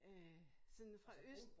Øh sådan fra øst